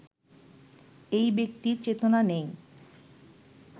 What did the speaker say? এই ব্যক্তির চেতনা নেই